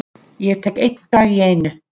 Ég tek einn dag í einu.